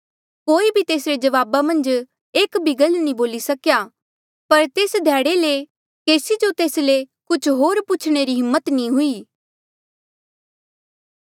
कोई भी तेसरे जवाबा मन्झ एक भी गल नी बोली सकेया पर तेस ध्याड़े ले केसी जो तेस ले कुछ होर पूछणे री हिम्मत नी हुई